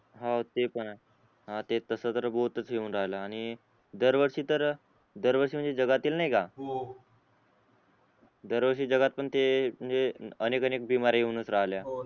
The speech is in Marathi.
हान ते पण आहे हान ते तस जर ठेऊन राहिला आणि दर वर्षी तर दर वर्षी म्हणजे जगातील नायका हो हो दर वर्षी जगात पण ते म्हणजे अनेक अनेक येऊनच राहिल्या